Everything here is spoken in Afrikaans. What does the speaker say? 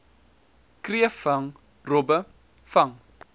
kreefvang robbe vang